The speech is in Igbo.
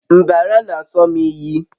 mbara n'aso m iyi